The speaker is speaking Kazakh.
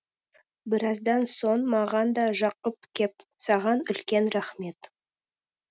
біраздан соң маған да жақып кеп саған үлкен рахмет